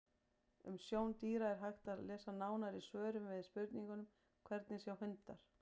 Um sjón dýra er hægt að lesa nánar í svörum við spurningunum: Hvernig sjá hundar?